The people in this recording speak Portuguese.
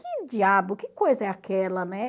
Que diabo, que coisa é aquela, né?